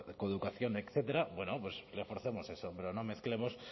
coeducación etcétera bueno pues reforcemos eso pero no mezclemos